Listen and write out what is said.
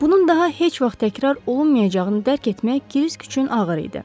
Bunun daha heç vaxt təkrar olunmayacağını dərk etmək Krisk üçün ağır idi.